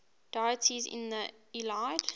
deities in the iliad